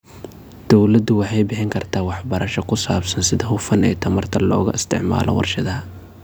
Dawladdu waxay bixin kartaa waxbarasho ku saabsan sida hufan ee tamarta looga isticmaalo warshadaha.